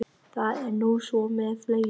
Það er nú svo með fleiri.